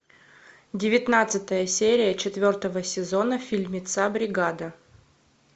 девятнадцатая серия четвертого сезона фильмеца бригада